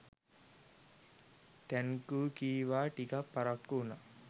Thank you කිව්වා.ටිකක් පරක්කු වුනා.